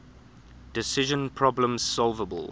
decision problems solvable